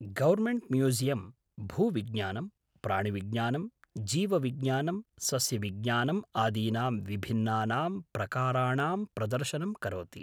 Government museum भूविज्ञानं, प्राणिविज्ञानं, जीवविज्ञानं, सस्यविज्ञानम् आदीनां विभिन्नानां प्रकाराणाम् प्रदर्शनं करोति।